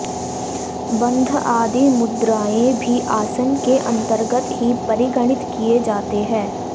बंध आदि मुद्रायें भी आसन के अन्तर्गत ही परिगणित किये जाते हैं